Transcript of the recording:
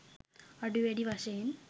අඩු වැඩි වශයෙන්